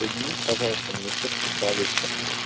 соедините пожалуйста меня со специалистом